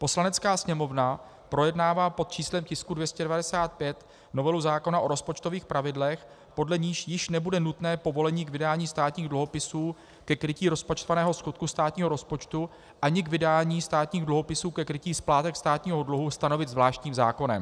Poslanecká sněmovna projednává pod číslem tisku 295 novelu zákona o rozpočtových pravidlech, podle níž již nebude nutné povolení k vydání státních dluhopisů ke krytí rozpočtovaného schodku státního rozpočtu ani k vydání státních dluhopisů ke krytí splátek státního dluhu stanovit zvláštním zákonem.